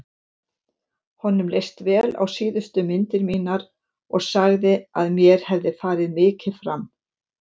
Honum leist vel á síðustu myndir mínar og sagði að mér hefði farið mikið fram.